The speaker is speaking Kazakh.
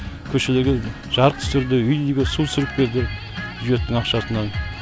көшелерге жарық түсірді үй үйге су түсіріп берді бюджеттің ақшасына